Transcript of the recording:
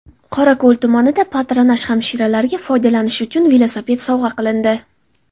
Qorako‘l tumanida patronaj hamshiralarga foydalanish uchun velosiped sovg‘a qilindi.